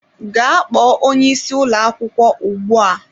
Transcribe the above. Gaa kpọọ onye isi ụlọ akwụkwọ ugbu a!